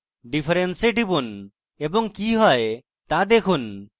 difference এ টিপুন এবং click হয় তা দেখুন